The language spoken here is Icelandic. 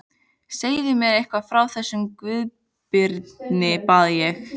Segðu mér eitthvað frá þessum Guðbirni, bað ég.